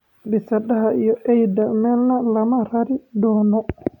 " Bisadaha iyo eyda meelna looma rari doono.